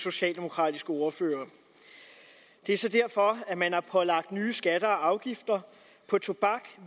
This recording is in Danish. socialdemokratiske ordfører det er så derfor man har pålagt nye skatter og afgifter på tobak